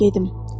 Gedim.